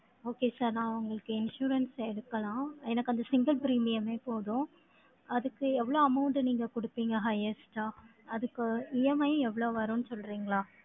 Okay sir, நான் உங்களுக்கு insurance எடுக்கலாம். எனக்கு அந்த single premium ஏ போதும். அதுக்கு எவ்வளவு amount நீங்க கொடுப்பீங்க highest ஆ? அதுக்கு EMI எவ்வளவு வருன்னு சொல்றீங்களா?